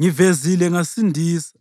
Ngivezile ngasindisa,